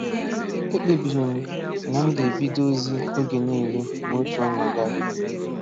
Ekpebiri m na m ga-ebido ozi oge niile ma otu ọnwa gaa.